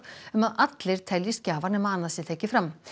um að allir teljist gjafar nema annað sé tekið fram